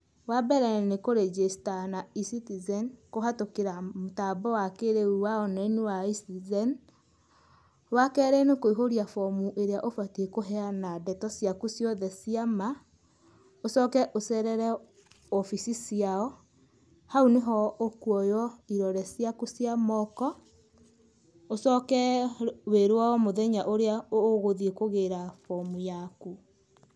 Wambere nĩ kũrenjĩcta na E-Citizen kũhatũkĩra mũtambo wa kĩrĩu wa online wa E-Citizen wakerĩ nĩ kũihũria bomu ĩrĩa ũbatie kũheyana ndeto ciaku ciothe cia maa, ũcoke ũcerere wobici ciao hau nĩho ũkuoywo irore ciaku cia moko, ũcoke wĩrwo mũthenya ũrĩa ũgũthie kũgĩra bomu yaku.